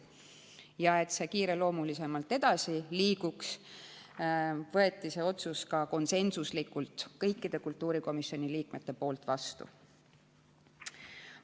Selleks, et see otsus kiireloomuliselt edasi liiguks, võtsid kultuurikomisjoni liikmed selle konsensuslikult vastu.